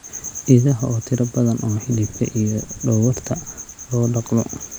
Idaha oo tiro badan oo hilibka iyo dhogorta loo dhaqdo.